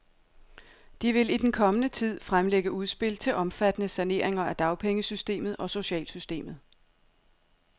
De vil i den kommende tid fremlægge udspil til omfattende saneringer af dagpengesystemet og socialsystemet.